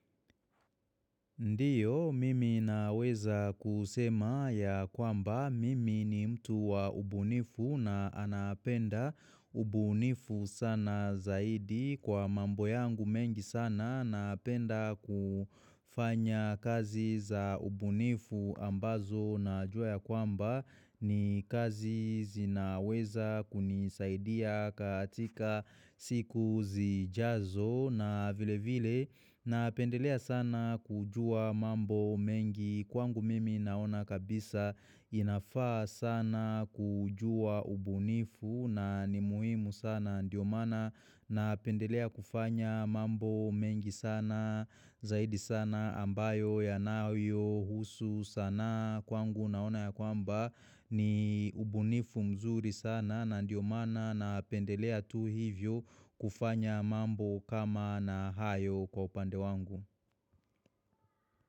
Ndiyo mimi naweza kusema ya kwamba mimi ni mtu wa ubu nifu na anapenda ubunifu sana zaidi kwa mambo yangu mengi sana naapenda kufanya kazi za ubunifu ambazo najua ya kwamba ni kazi zinaweza kunisaidia katika siku zijazo na vile vile na pendelea sana kujua mambo mengi kwangu mimi naona kabisa inafaa sana kujua ubunifu na ni muhimu sana ndiyo maana na pendelea kufanya mambo mengi sana zaidi sana ambayo ya nawio husu sana kwangu naona ya kwamba ni ubunifu mzuri sana na ndiyo mana na pendelea tu hivyo kufanya mambo kama na hayo. Kwa upande wangu.